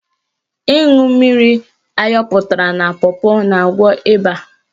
Ịṅụ mmiri ayọpụtara na pọpọ na-agwọ ịba.